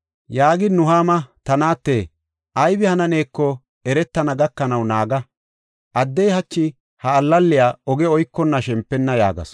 Yaagin Nuhaama, “Ta naate, aybi hananeeko eretana gakanaw naaga. Addey hachi ha allaley oge oykonna shempenna” yaagasu.